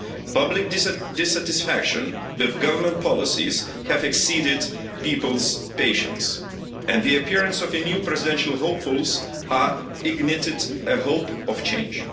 Public dissatisfaction with government policies has exceeded people's patience, and the appearance of new presidential hopefuls has ignited hope of change.